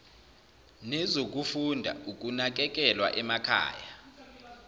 nezokufunda ukunakekelwa emakhaya